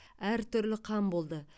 әртүрлі қан болды